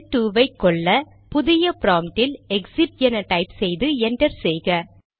shell 2 ஐ கொல்ல புதிய ப்ராம்ப்ட் இல் எக்சிட் என டைப் செய்து என்டர் செய்க